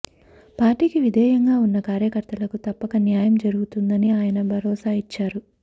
పార్టీకి విధేయంగా ఉన్న కార్యకర్తలకు తప్పక న్యాయం జరుగుతుందని ఆయన భరోసా ఇచ్చారు